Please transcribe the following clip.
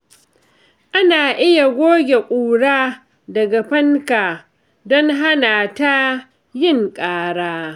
Ana iya goge ƙura daga fanka don hana ta yin ƙara.